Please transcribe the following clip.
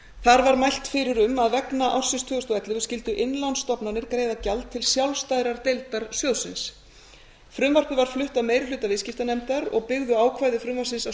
þar var mælt fyrir um að vegna ársins tvö þúsund og ellefu skyldu innlánsstofnanir greiða gjald til sjálfstæðrar deildar sjóðsins frumvarpið var flutt af meiri hluta viðskiptanefndar og byggðu ákvæði frumvarpsins að